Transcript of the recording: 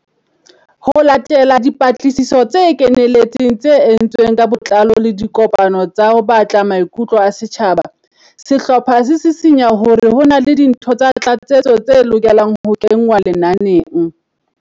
Ho latela dipatlisiso tse kenelletseng tse entsweng ka botlao le dikopano tsa ho batla maikutlo a setjhaba, sehlopha se sisinya hore ho na le dintho tsa tlatsetso tse lokelang ho kengwa lenaneng.